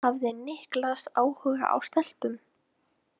Hafði Niklas áhuga á stelpum?